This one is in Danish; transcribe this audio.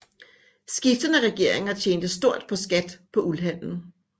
Skiftende regeringer tjente stort på skat på uldhandlen